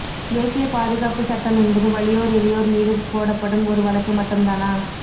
தேசிய பாதுகாப்புச் சட்டம் என்பது வலியோர் எளியோர் மீது போடப்படும் ஒரு வழக்கு மட்டும் தானா